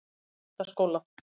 Menntaskóla